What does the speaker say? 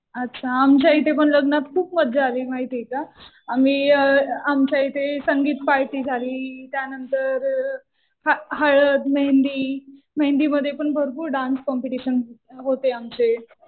अच्छा. आमच्या इथे पण लग्नात खूप मजा आली माहितीये का. आम्ही, आमच्या इथे संगीत पार्टी झाली. त्यानंतर हळद, मेहेंदी. मेहेंदीमध्ये पण भरपूर डान्स कॉम्पिटिशन होते आमचे.